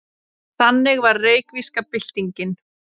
Þannig var reykvíska byltingin.